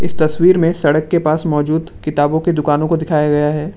तस्वीर में सड़क के पास मौजूद किताबों की दुकानों को दिखाया गया है ।